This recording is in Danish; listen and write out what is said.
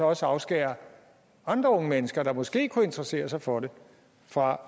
også afskære andre unge mennesker der måske kunne interessere sig for det fra